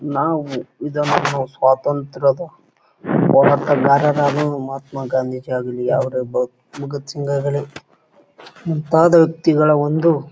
ನಾವು ಇದನ್ನ ನಾವು ಸ್ವಾತಂತ್ರದ ಹೋರಾಟಗಾರರಾದವರು ಮಹಾತ್ಮಾ ಗಾಂಧೀಜಿ ಭಗತ್ ಸಿಂಗ್ ಆಗಲಿ ಮುಂತಾದ ವ್ಯಕ್ತಿ ಗಳ ಒಂದು